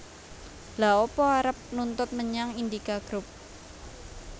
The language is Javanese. Lha apa arep nuntut menyang Indika Group